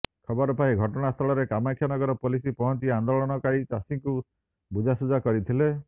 ଖବର ପାଇ ଘଟଣାସ୍ଥଳରେ କାମାକ୍ଷାନଗର ପୋଲିସ ପହଞ୍ଚି ଆନ୍ଦୋଳନ କାରି ଚାଷୀଙ୍କୁ ବୁଝାସୁଝା କରିଥିଲେ